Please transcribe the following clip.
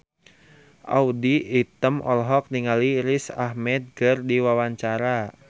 Audy Item olohok ningali Riz Ahmed keur diwawancara